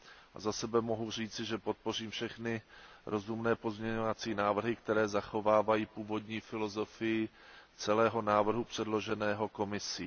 A za sebe mohu říci, že podpořím všechny rozumné pozměňovací návrhy, které zachovávají původní filozofii celého návrhu předloženého Komisí.